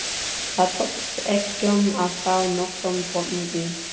Það tókst engum að fá nokkurn botn í.